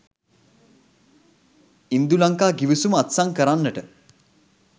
ඉන්දුලංකා ගිවිසුම අත්සන් කරන්නට